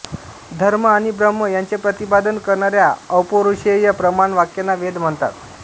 धर्म आणि ब्रह्म यांचे प्रतिपादन करणाऱ्या अपौरुषेय प्रमाण वाक्यांना वेद म्हणतात